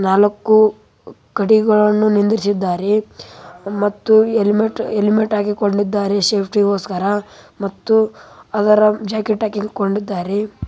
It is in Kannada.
ನಾಲ್ಕು ಕಡಿಗಳನ್ನು ನಿಲ್ಲಿಸಿದ್ದಾರೆ ಮತ್ತು ಹೆಲ್ಮೆಟ್‌ ಹಾಕಿಕೊಂಡಿದ್ದಾರೆ ಸೇಫ್ಟಿಗೋಸ್ಕರ ಮತ್ತು ಅದರ ಜಾಕೆಟ್‌ ಹಾಕಿಕೊಂಡಿದ್ದಾರೆ.